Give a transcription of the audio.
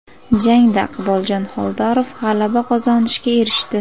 Jangda Iqboljon Xoldorov g‘alaba qozonishga erishdi.